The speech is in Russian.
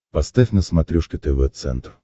поставь на смотрешке тв центр